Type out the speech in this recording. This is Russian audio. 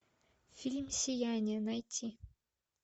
фильм сияние найти